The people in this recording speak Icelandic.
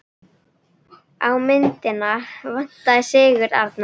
Á myndina vantar Sigurð Arnar.